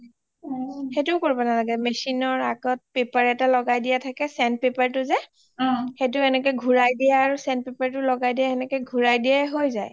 সেইটোয়ো কৰিব নালাগে machine ৰ আগত paper এটা লগাই দিয়া থাকে sand paper টো যে অ সেইটো এনেকে ঘূৰাই দিয়া আৰু sand paper টো লগাই দিয়া এনেকে ঘূৰাই দিয়ে হৈ যায়